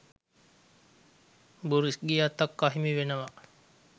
Boris ගේ අතක් අහිමි වෙනවා